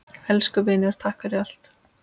Elsku vinur, takk fyrir allt.